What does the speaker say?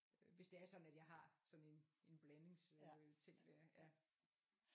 Øh hvis det er sådan at jeg har sådan en en blandings øh ting der ja